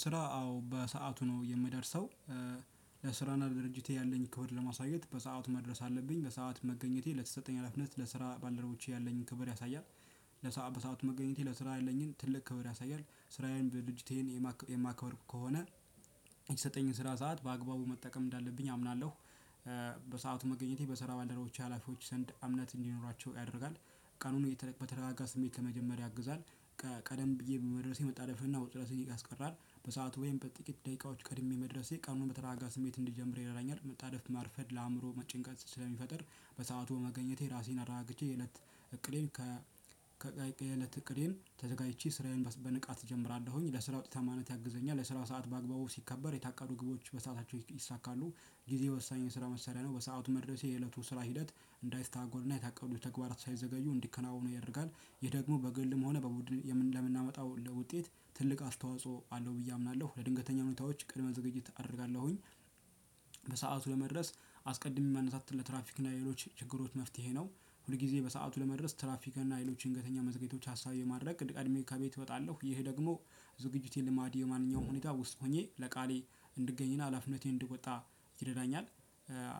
ስራ አዎ በሰአቱ ነው የምደርሰው። ለስራና ለድርጅቴ ያለኝን ክብር ለማሳየት በሰአት መድረስ አለብኝ በሰአት መገኘቴ ለተሰጠኝ አላፍነት ለስራ ባልደረቦቼ ያለኝን ክብር ያሳያል። ለሰአቱ በሰአቱ መገኘቴ ለስራ ያለኝን ትልቅ ክብር። ስራዬን በድጅቴን የማከብር ከሆነ የተሰጠኝን ስራ ሰዓት በአግባቡ መጠቀም እንዳለብኝ አምናለሁ። በሰአቱ መገኘቴ በሰራ ባልደረቦች ሀላፊዎች ሰንድ አምነት እንዲኖራቸው ያደርጋል። ቀኑን በተረጋጋ ስሜት ከመጀመሪያ ያግዛል። ቀደም ብዬ በመድረሴ መጣለፍና ውጥረትን ያስቀራል። በሰአቱ ወይም በጥቂት ደቂቃዎች ቀድሜ መድረሴ ቀኑን በተራጋ ስሜት እንዲጀምር ይረዳኛል። መጣደፍ ማርፈድ ለአእምሮ መጨንቀን ስለሚፈጥር። በሰአቱ መገኘቴ ራሴን አረጋግቼ የእለት እቅዴን ከ ከቀይ የእለት እቅዴን ተዘጋጅቼ ስራዬን በንቃት እጀምራለሁኝ ለስራ ውጤታማነት ያግዘኛል። ለስራ ሰዓት በአግባቡ ሲከበር የታቀዱ ግቦች በሰአታቸው ይይሳካሉ። ጊዜ ወሳኝ የስራ መሰሪያ ነው በሰአቱ መድረሴ የእለቱ ስራ ሂደት እንዳይሰተጓጎልና የታቀዱ ተግባራት ሳይዘገዩ እንዲከናወኑ ያርጋል። ይሄ ደግሞ በግልም ሆነ በቡድን ለምናመጣው ለውጤት ትልቅ አስተዋጽኦ አለው ብዬ አምናለሁ። ለድንገተኛ ኑታዎች ቅድመ ዝግጅት አደርጋለሁኝ። በሰአቱ ለመድረስ አስቀድሜ ማነሳት ለትራፊክ እና ሌሎች ችግሮች መፍትሄ ነው። ሁል ጊዜ በሰአቱ ለመድረስ ትራፍሪካን እና ሌሎች ድንገተኛ መዝገቢቶች ሀሳብ የማድረግ እቅድ ቀድሜ ከቤት እወጣለሁ። ይሄ ደግሞ ዝግጅቴ ልማዴ የማንኛውም ሁኔታ ውስጥ ሆኜ ለቃሌ እንድገኝና አላፍነቴን እድወጣ ይረዳኛል።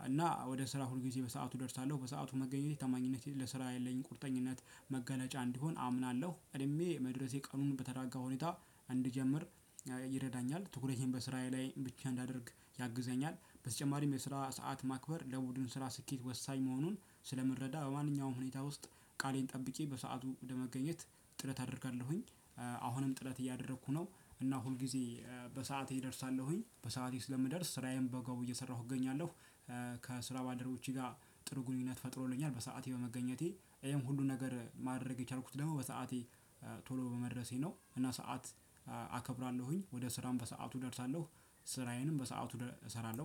እና ወደ ስራ ሁልጊዜ በሰአቱ እደርሳለሁ። በሰአቱ መገኘት ተማኝነቴ ለስራ ያለኝ ቁርጠኝነት መገለጫ እንዲሆን አምናለሁ። ቀድሜ መድረሴ ቀኑን በተረጋጋ ሁኔታ እንድጀምር ይረዳኛል ትኩረቴን በስራዬ ላይ ብቻ እንዳደርግ ያግዘኛል። በተጨማሪም የስራ ሰዓት ማክበር ለቡድን ስራ ስኬት ወሳኝ መሆኑን ስለምረዳ በማንኛውም ሁኔታ ውስጥ ቃሌን ጠብቄ በሰአቱ ወደ መገኘት ጥረት አደርጋለሁኝ። አሁንም ጥረት እያደረኩ ነው። እና ሁል ጊዜ በሰአቴ እደርሳለሁኝ በሰአቴ ስለምደርስ ስራዬን በገቡ እየሰራሁ እገኛለሁ። ከስራ ባልደረቦቼ ጋ ጥሩ ግንኙነት ፈጥሮልኛል። በስአቴ በመገኘቴ ይሄን ሁሉ ነገር ማድረግ የቻልኩት ደግሞ በሰአቴ ቶሎ በመድረሴ ነው። ነው እና ሰዓት አከብራለሁኝ ወደ ስራም በሰአቱ እደርሳለሁ። ስራዬንም በሰአቱ እሰራለሁ